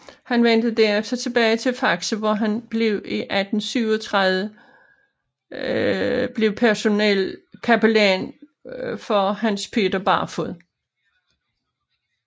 Han vendte derefter tilbage til Faxe hvor han blev i 1837 blev personel kapellan for Hans Peter Barfod